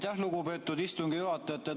Aitäh, lugupeetud istungi juhataja!